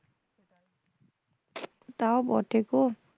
তাও বটে গো